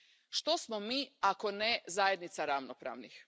Što smo mi, ako ne zajednica ravnopravnih?!